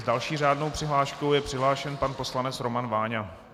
S další řádnou přihláškou je přihlášen pan poslanec Roman Váňa.